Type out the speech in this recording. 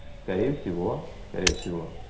скорее всего скорее всего